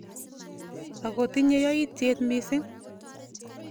Ako tinye yaityet missing.